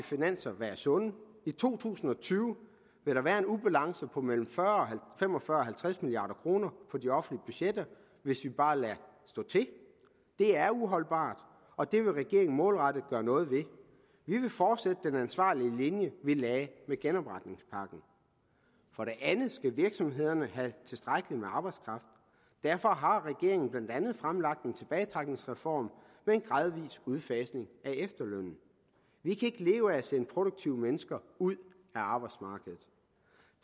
finanser være sunde i to tusind og tyve vil der være en ubalance på mellem fem og fyrre og halvtreds milliard kroner på de offentlige budgetter hvis vi bare lader stå til det er uholdbart og det vil regeringen målrettet gøre noget ved vi vil fortsætte den ansvarlige linje vi lagde med genopretningspakken for det andet skal virksomhederne have tilstrækkelig med arbejdskraft derfor har regeringen blandt andet fremlagt en tilbagetrækningsreform med en gradvis udfasning af efterlønnen vi kan ikke leve af at sende produktive mennesker ud af arbejdsmarkedet